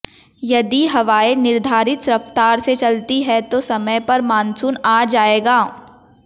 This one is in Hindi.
यदि हवाएं निर्धारित रफ्तार से चलती हैं तो समय पर मानसून आ जाएगा